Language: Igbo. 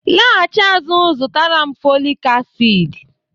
laghachi azụ zụtara m folic acid